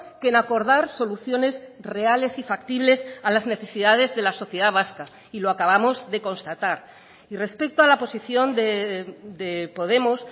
que en acordar soluciones reales y factibles a las necesidades de la sociedad vasca y lo acabamos de constatar y respecto a la posición de podemos